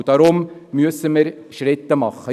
Deshalb müssen wir Schritte unternehmen.